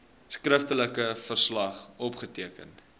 skriftelike verslag opgeteken